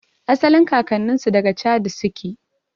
Asalin kakannninsu daga chadi suke